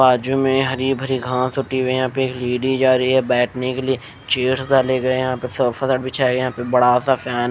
बाजू में हरी भरी घास हुई यहाँ पे एक लेडीज जा रही है बैठने के लिए चेयर्स डाले गए यहाँ पे सोफा बिछाए यहाँ पे बड़ा सा फैन --